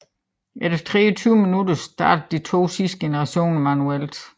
Efter 23 minutter startedes de to sidste generatorer manuelt